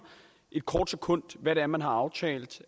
en kort stund hvad det er man har aftalt